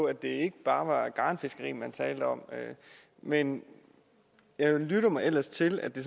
at det ikke bare var garnfiskeri man talte om men jeg lytter mig ellers til at det